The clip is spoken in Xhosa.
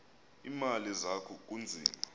iimali zakho kunzima